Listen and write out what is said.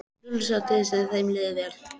Lúlli sá til þess að þeim liði vel.